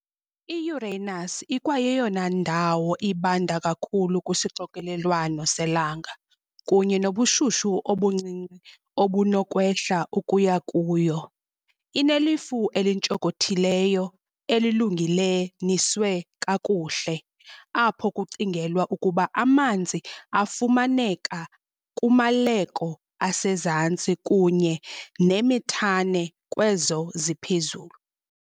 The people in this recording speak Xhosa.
I-Uranus ikwayeyona ndawo ibanda kakhulu kwisixokelelwano selanga, kunye nobushushu obuncinci obunokwehla ukuya kuyo. Inelifu elintshonkothileyo, elilungelelaniswe kakuhle, apho kucingelwa ukuba amanzi afumaneka kumaleko asezantsi kunye nemethane kwezo ziphezulu.